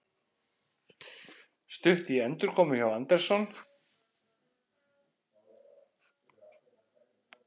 Stutt í endurkomu hjá Anderson